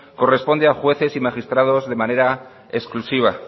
corresponde a jueces y magistrados de manera exclusiva